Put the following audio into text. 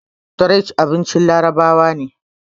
tharid abincin larabawa ne